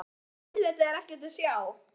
En auðvitað er ekkert að sjá.